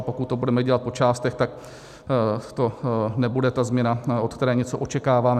A pokud to budeme dělat po částech, tak to nebude ta změna, od které něco očekáváme.